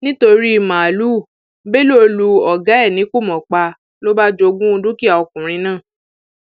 nítorí màálùú bello lu ọgá ẹ ní kùmọ pa ló bá jogún dúkìá ọkùnrin náà